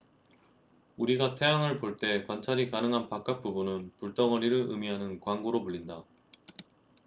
"우리가 태양을 볼 때 관찰이 가능한 바깥 부분은 "불덩어리""를 의미하는 광구로 불린다.